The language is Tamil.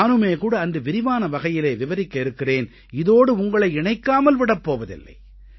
நானுமே கூட அன்று விரிவான வகையிலே விவரிக்க இருக்கிறேன் இதோடு உங்களை இணைக்காமல் விடப் போவதில்லை